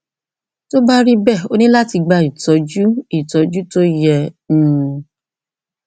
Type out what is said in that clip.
tó bá rí bẹẹ o ní láti gba ìtọjú ìtọjú tó yẹ um